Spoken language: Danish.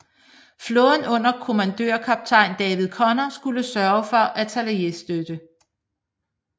Flåden under kommandørkaptajn David Conner skulle sørge for artilleristøtte